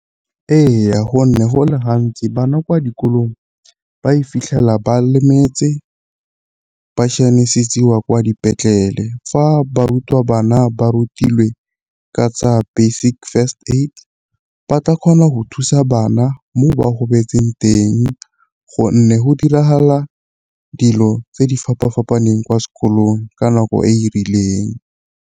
Ee, gonne go le gantsi bana kwa dikolong ba e fitlhela ba lemetse bašianisetsiwa kwa dipetlele. Fa barutabana ba rutilwe ka tsa basic first aid ba tla kgona go thusa bana mo ba gobetse teng, gonne go diragala dilo tse di fapa-fapaneng kwa sekolong ka nako e e rileng.